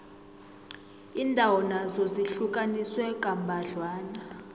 iindawo nazo zihlukaniswe kambadlwana